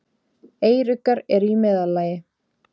Eyruggar eru í meðallagi.